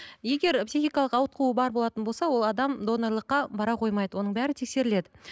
егер психикалық ауытқуы бар болатын болса ол адам донорлыққа бара қоймайды оның бәрі тексеріледі